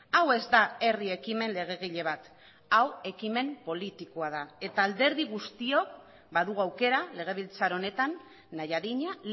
hau ez da herri ekimen legegile bat hau ekimen politikoa da eta alderdi guztiok badugu aukera legebiltzar honetan nahi adina